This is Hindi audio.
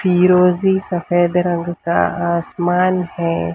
फिरोजी सफेद रंग का आसमान है।